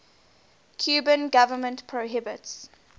cuban government prohibits